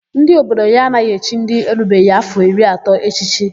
Ndị obodo ya anaghị echi ndị erubeghị áfọ̀ iri atọ echichi.